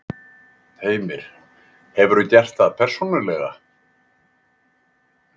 Heimir: Hefurðu gert það persónulega?